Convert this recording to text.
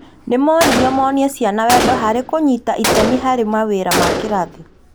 Nĩ moririo monie ciana wendo harĩ kũnyita itemi harĩ mawĩra ma kĩrathi